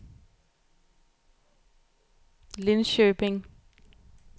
Linköping